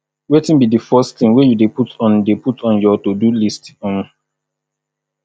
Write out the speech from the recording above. wetin be di first thing you dey put on dey put on your todo list um